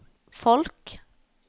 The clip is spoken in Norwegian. folk